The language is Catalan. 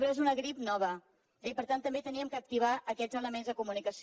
però és una grip nova eh i per tant també havíem d’activar aquests elements de comunicació